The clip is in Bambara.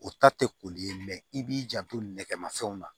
O ta tɛ koli ye i b'i janto nɛgɛmafɛnw na